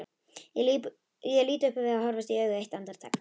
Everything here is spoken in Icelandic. Ég lít upp og við horfumst í augu eitt andartak.